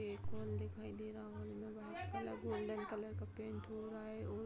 एक हॉल दिखाई दे रहा हॉल में व्‍हाईट कलर गोल्‍डन कलर का पेंट हो रहा है और --